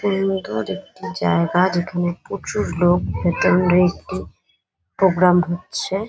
Stage এর মতো একটি জায়গা যেখানে প্রচুর লোকভেতরে একটি প্রোগ্রাম হচ্ছে।